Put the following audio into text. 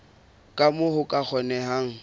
ka moo ho ka kgonehang